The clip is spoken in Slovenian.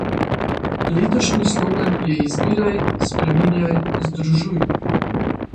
Letošnji slogan je Izbiraj, spreminjaj, združuj.